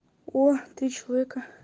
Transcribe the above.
о три человека